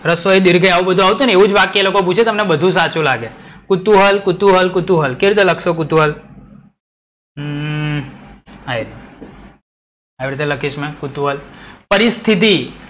રશવાઈ દિર્ઘઈ આવું બધુ આવશે ને એવું જ વાક્ય એ લોકો પૂછે તમને બધુ સાચું લાગે. કુતૂહલ, કુતૂહલ, કુતૂહલ, કેવી રીતે લખશો કુતૂહલ? અમ આવી રીતે લખીસ મે કુતૂહલ. પરિસ્થિતી.